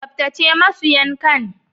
Tsaftace masu yankan.